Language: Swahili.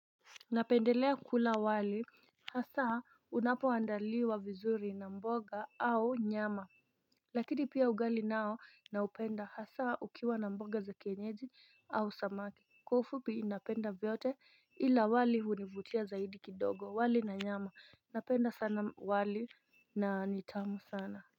Napendelea kula wali Hasaa unapoandaliwa vizuri na mboga au nyama Lakini pia ugali nao na upenda hasaa ukiwa na mboga za kienyeji au samaki Kwaufupi napenda vyote ila wali univutia zaidi kidogo wali na nyama Napenda sana wali na nitamu sana.